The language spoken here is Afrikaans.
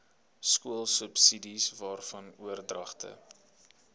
skoolsubsidies waarvan oordragte